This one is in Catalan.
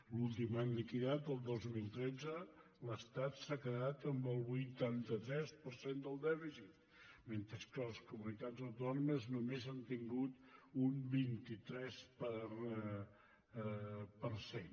l’últim any liquidat el dos mil tretze l’estat s’ha quedat amb el vuitanta tres per cent del dèficit mentre que les comunitats autònomes només hem tingut un vint tres per cent